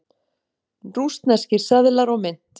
Rússneskir seðlar og mynt.